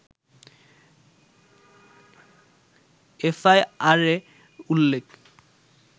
এফআইআরে উল্লেখ